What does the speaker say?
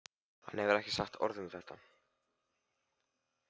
Hann hefur ekki sagt orð um þetta.